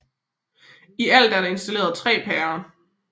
I alt er der installeret 3 pærer